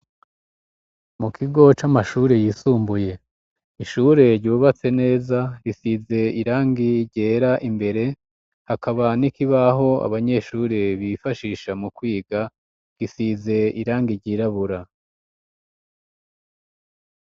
Mu kigo c'amashuri yisumbuye ishure ryubatse neza risize irangi ryera imbere hakaba n'ikibaho abanyeshuri bifashisha mu kwiga gisize irangi ryirabura.